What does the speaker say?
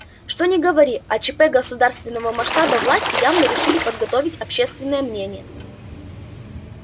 что ни говори а чп государственного масштаба власти явно решили подготовить общественное мнение